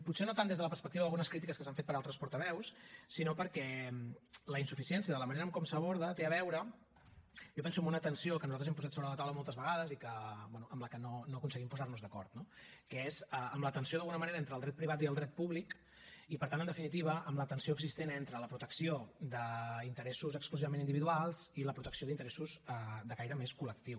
potser no tant des de la perspectiva d’algunes crítiques que s’han fet per altres portaveus sinó perquè la insuficiència de la manera com s’aborda té a veure jo penso amb una tensió que nosaltres hem posat sobre la taula moltes vegades i bé amb la que no aconseguim posar nos d’acord no que és amb la tensió d’alguna manera entre el dret privat i el dret públic i per tant en definitiva amb la tensió existent entre la protecció d’interessos exclusivament individuals i la protecció d’interessos de caire més col·lectiu